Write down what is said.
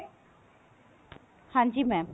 ਹਾਂਜੀ mam